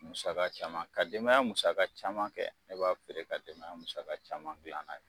Musaka caman ka denbaya musaka caman kɛ, ne b'a feere ka denbaya musaka caman dilan n'a ye.